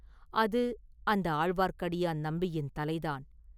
அது, அந்த ஆழ்வார்க்கடியான் நம்பியின் தலை தான்.